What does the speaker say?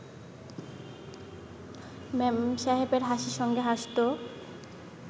মেমসাহেবের হাসির সঙ্গে হাসত